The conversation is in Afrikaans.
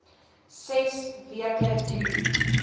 ses weke duur